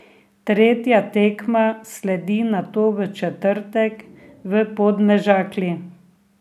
Tretja tekma sledi nato v četrtek v Podmežakli.